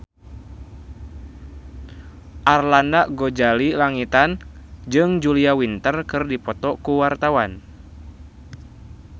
Arlanda Ghazali Langitan jeung Julia Winter keur dipoto ku wartawan